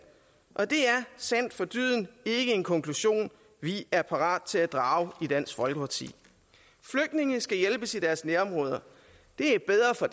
og det er sandt for dyden ikke en konklusion vi er parate til at drage i dansk folkeparti flygtninge skal hjælpes i deres nærområder det er bedre for